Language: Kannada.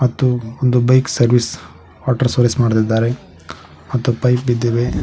ಮತ್ತು ಒಂದು ಬೈಕ್ ಸರ್ವಿಸ್ ವಾಟರ್ ಸರ್ವಿಸ್ ಮಾಡತಿದಾರೆ ಮತ್ತು ಪೈಪ್ ಬಿದ್ದಿದೆ.